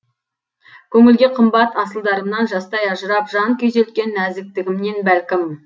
көңілге қымбат асылдарымнан жастай ажырап жан күйзелткен нәзіктігімнен бәлкім